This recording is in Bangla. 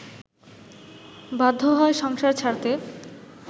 বাধ্য হয় সংসার ছাড়তে